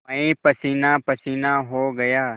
मैं पसीनापसीना हो गया